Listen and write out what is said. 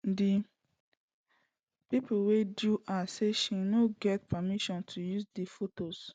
di pipo wey sue her say she no get permission to use di fotos